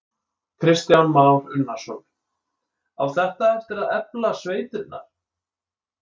Kristján Már Unnarsson: Á þetta eftir að efla sveitirnar?